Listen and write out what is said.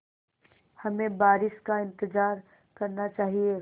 हमें बारिश का इंतज़ार करना चाहिए